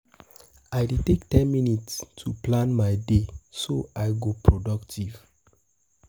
I dey take ten minutes um to plan my day, so I go productive.